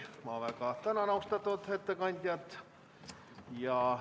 Ma väga tänan austatud ettekandjat!